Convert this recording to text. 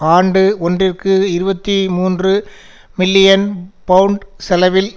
ஆண்டு ஒன்றிற்கு இருபத்தி மூன்று மில்லியன் பவுண்ட் செலவில்